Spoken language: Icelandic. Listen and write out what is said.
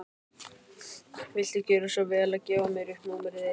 Viltu gjöra svo vel að gefa mér upp númerið þitt?